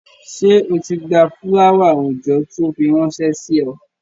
Ṣé o ti gba fúláwà-oòjọ́ tó fi ránṣẹ́ sí ọ?